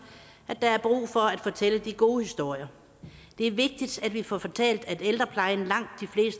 at der er brug for at fortælle de gode historier det er vigtigt at vi får fortalt at ældreplejen langt